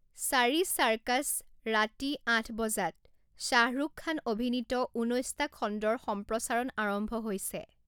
চাৰি চাৰ্কাছ ৰাতি আঠ বজাত শ্বাহৰুখ খান অভিনীত ঊনৈছটা খণ্ডৰ সম্প্ৰচাৰণ আৰম্ভ হৈছে।